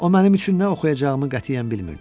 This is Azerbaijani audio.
O mənim üçün nə oxuyacağımı qətiyyən bilmirdi.